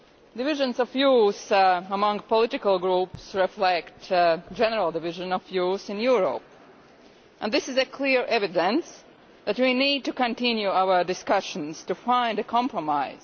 Divisions of views among the political groups reflect general divisions of views in Europe, and this is clear evidence that we need to continue our discussions to find a compromise.